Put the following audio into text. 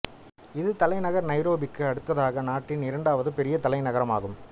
இது தலைநகர் நைரோபிக்கு அடுத்ததாக நாட்டின் இரண்டாவது பெரிய நகரம் ஆகும்